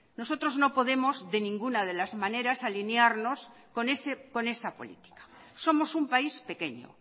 nosotros no podemos de ninguna de las maneras alinearnos con esa política somos un país pequeño